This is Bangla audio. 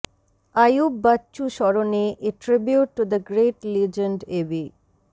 আইয়ুব বাচ্চু স্মরণে a tribute to the great legend AB